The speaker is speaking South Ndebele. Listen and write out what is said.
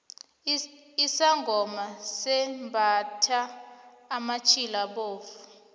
isangoma simbathha amatjhila abovu